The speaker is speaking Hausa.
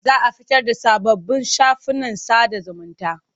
Za a fitar da sababbin shafukan sada zumunta.